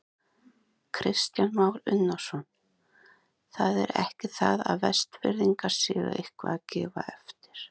Kristján Már Unnarsson: Það er ekki það að Vestfirðingar séu eitthvað að gefa eftir?